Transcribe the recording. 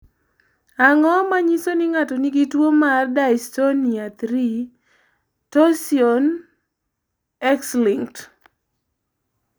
Ang�o ma nyiso ni ng�ato nigi tuo mar Dystonia 3, torsion, X linked?